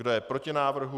Kdo je proti návrhu?